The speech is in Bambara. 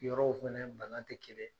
Yɔrɔw fɛnɛ bana te kelen ye.